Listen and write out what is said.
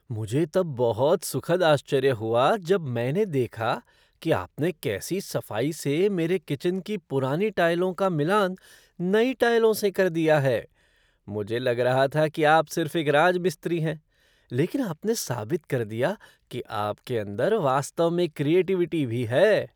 मुझे तब बहुत सुखद आश्चर्य हुआ जब मैंने देखा कि आपने कैसी सफ़ाई से मेरे किचन की पुरानी टाइलों का मिलान नई टाइलों से कर दिया है। मुझे लग रहा था कि आप सिर्फ एक राजमिस्त्री हैं, लेकिन आपने साबित कर दिया कि आपके अंदर वास्तव में क्रिएटिविटी भी है।